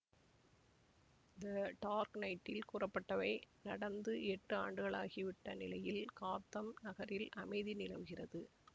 த dark நைட்டில் கூறப்பட்டவை நடந்து எட்டு ஆண்டுகளாகி விட்ட நிலையில் காத்தம் நகரில் அமைதி நிலவுகிறது